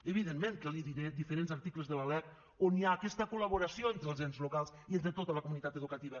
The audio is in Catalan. evidentment que li diré diferents articles de la lec on hi ha aquesta col·laboració entre els ens locals i entre tota la comunitat educativa